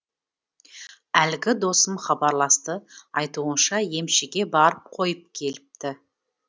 әлгі досым хабарласты айтуынша емшіге барып қойып келіпті